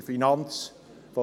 Wenn man